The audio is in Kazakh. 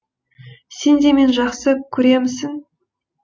сен де мені жақсы көремісің